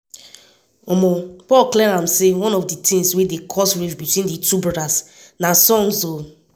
paul clear am say one of di tins wey dey cause rift between di two brothers na songs.